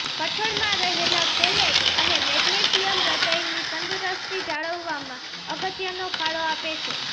કઠોળમાં રહેલા ફેલેટ અને મેગ્નેશ્યિમ હૃદયની તંદુરસ્તી જાળવવામાં અગત્યનો ફળો આપે છે